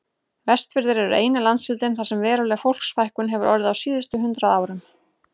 Vestfirðir eru eini landshlutinn þar sem veruleg fólksfækkun hefur orðið á síðustu hundrað árum.